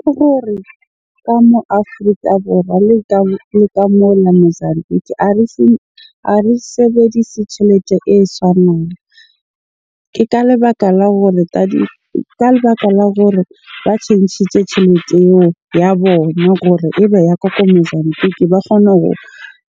Ke gore ka moo Afrika Borwa le ka mola Mozambique a re sebedise tjhelete e tshwanang. Ke ka lebaka la hore ka lebaka la gore ba tjhentjhitse tjhelete eo ya bona gore ebe ya Mozambique ba kgona ho